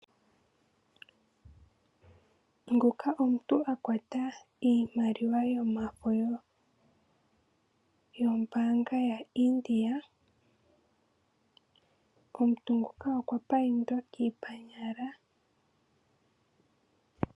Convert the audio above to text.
Nguka omuntu akwata iimaliwa yomafo yomabaanga yaIndia .Omuntu nguka okwa paindwa kiipanyala.